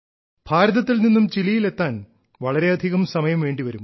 ഭാരതത്തിൽ നിന്നും ചിലിയിൽ എത്താൻ വളരെയധികം സമയം വേണ്ടിവരും